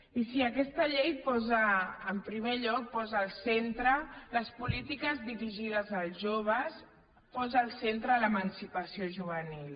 i sí aquesta llei posa en primer lloc posa al centre les polítiques dirigides als joves posa al centre l’emancipació juvenil